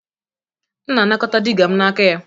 M na-anakọta digger m n'aka ya